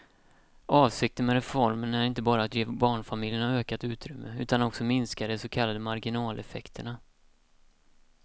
Avsikten med reformen är inte bara att ge barnfamiljerna ökat utrymme utan också minska de så kallade marginaleffekterna.